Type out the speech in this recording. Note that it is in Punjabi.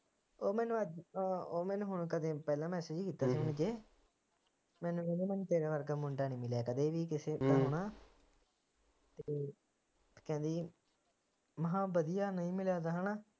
ਉਹ ਮੈਨੂੰ ਅੱਜ ਉਹ ਮੈਨੂੰ ਹੁਣ ਕਦੇ ਪਹਿਲਾ message ਕੀਤਾ ਮੈਨੂੰ ਕਹਿੰਦੀ ਮੈਨੂੰ ਤੇਰੇ ਵਰਗਾ ਮੁੰਡਾ ਨਹੀਂ ਮਿਲਿਆ ਕਦੇ ਵੀ ਕਿਸੇ ਹੈਨਾ ਤੇ ਕਹਿੰਦੀ, ਮੈ ਕਹਿਆ ਬਦੀਆ ਨਹੀਂ ਮਿਲਿਆ ਤਾ ਹੈਨਾ